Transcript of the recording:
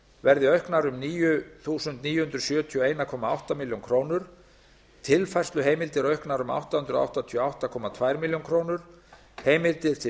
verði auknar um níu þúsund níu hundruð sjötíu og einn komma átta milljónir króna tilfærsluheimildir auknar um átta hundruð áttatíu og átta komma tveimur milljónum króna heimildir til